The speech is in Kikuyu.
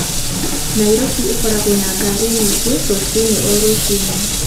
Nairobi ĩkoragwo na ngari nyingĩ rũcinĩ o rũcinĩ.